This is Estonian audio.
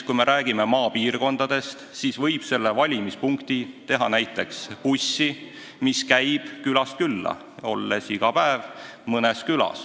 Valimispunkti võib teha näiteks bussi, mis sõidab maapiirkondades külast külla, olles iga päev mõnes külas.